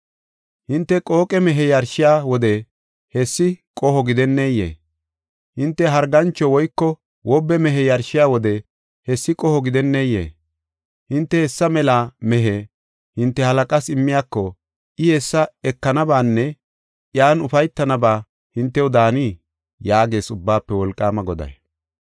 Hinte qooqe mehe yarshiya wode hessi qoho gidenneyee? Hinte hargancho woyko wobe mehe yarshiya wode hessi qoho gidenneyee? Hinte hessa mela mehe hinte halaqaas immiyako, I hessa ekanabaanne iyan ufaytanaaba hintew daanii? yaagees Ubbaafe Wolqaama Goday.